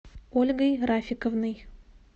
ольгой рафиковной